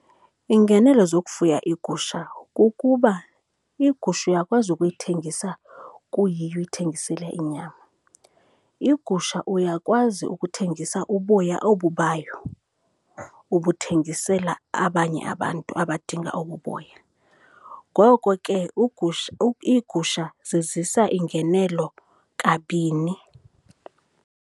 Iingenelo zokufuya iigusha kukuba igusha uyakwazi ukuyithengisa kuyiyo, uyithengisele inyama. Igusha uyakwazi ukuthengisa uboya obu bayo, ubuthengisela abanye abantu abadinga obu boya. Ngoko ke iigusha zizisa iingenelo kabini.